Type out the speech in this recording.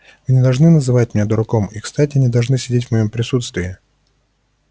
вы не должны называть меня дураком и кстати не должны сидеть в моем присутствии